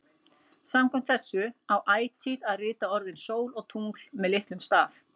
Samkvæmt þessu á ætíð að rita orðin sól og tungl með litlum staf.